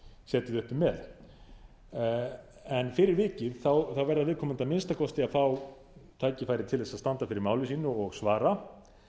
setið uppi með fyrir vikið verða viðkomandi að minnsta kosti að fá tækifæri til þess að standa fyrir máli sínu og svara